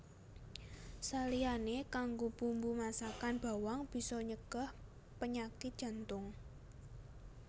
Saliyané kanggo bumbu masakan bawang bisa nyegah panyakit jantung